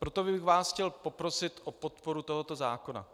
Proto bych vás chtěl poprosit o podporu tohoto zákona.